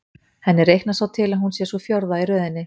Henni reiknast svo til að hún sé sú fjórða í röðinni.